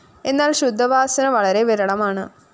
എന്നാല്‍ ശുദ്ധവാസന വളരെ വിരളമാണ്